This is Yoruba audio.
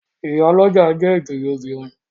Ìyálọ́jà jẹ́ ìjòyè obìnrin.